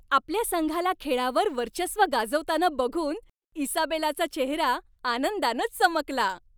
आपल्या संघाला खेळावर वर्चस्व गाजवताना बघून इसाबेलाचा चेहरा आनंदानं चमकला.